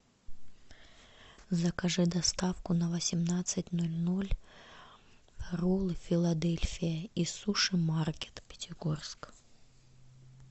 закажи доставку на восемнадцать ноль ноль роллы филадельфия и суши маркет пятигорск